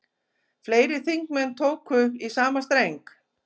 Fleiri þingmenn tóku í sama streng